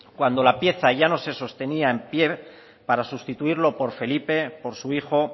cuando la pieza ya no se sostenía en pie para sustituirlo por felipe por su hijo